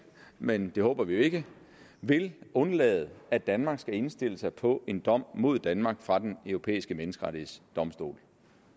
men det håber vi ikke vil undlade at danmark skal indstille sig på en dom mod danmark fra den europæiske menneskerettighedsdomstol